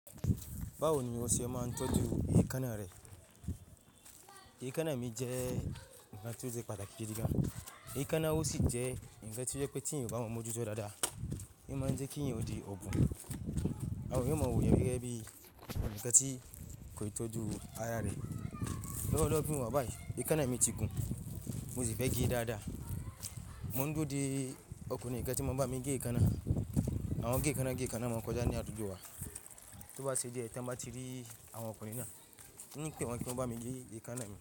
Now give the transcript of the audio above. Báwo ni wọ́n ṣe máa ń tọ́jú èékánná rẹ? Èékánná mi jẹ́ ǹkan tó jẹ́ pàtàkì gidi gan. Èékánná o sì jẹ́ ǹkan tí ó jẹ́ pé tí ẹ̀yin ò bá mu ojú tó dáadáa. Ìmáa ń jẹ́ kí ẹ̀yin ó di obun àwọn èèyàn o ma wo èèyàn gẹ́gẹ́ bí ǹkan tí kò ì tọ́jú ara rẹ. Lọ́wọ́lọ́wọ́ bí mo bá bàì, èékánná mi ti gùn, mo sì fẹ́ gẹ daadaa. Mọ̀ ń dúró di ọ̀kúnrin ǹkan tí máa ń bá mi gé èékánná. Àwọn gé èékánná, gé èékánná máa ń kọjá ní àdúgbò wa, tó bá ṣe jẹ́ tàn bá ti rí àwọn ọkùnrin náà, hun pẹ̀wẹ́ wọn kí wọ́n bá mi gé èékánná mi.